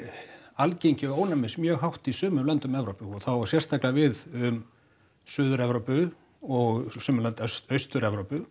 algengi ónæmis mjög hátt í sumum löndum Evrópu og það á sérstaklega við um Suður Evrópu og sum lönd Austur Evrópu